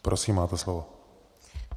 Prosím, máte slovo.